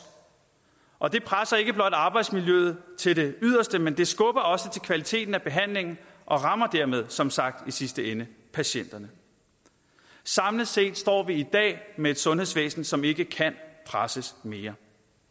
og det presser ikke blot arbejdsmiljøet til det yderste men det skubber også til kvaliteten af behandlingen og rammer dermed som sagt i sidste ende patienterne samlet set står vi i dag med et sundhedsvæsen som ikke kan presses mere